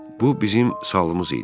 Bu bizim salımız idi.